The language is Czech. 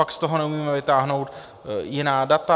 Pak z toho neumíme vytáhnout jiná data?